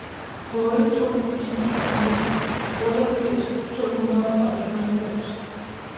otte to fire fire otteogfirs to hundrede og enoghalvfems